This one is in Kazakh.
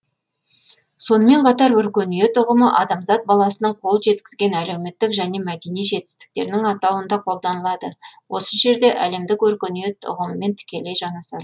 сонымен қатар өркениет ұғымы адамзат баласының қол жеткізген әлеуметтік және мәдени жетістіктерінің атауында қолданылады осы жерде әлемдік өркениет ұғымымен тікелей жанасады